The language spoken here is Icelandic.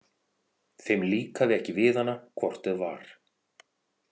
Þeim líkaði ekki við hana hvort eð var.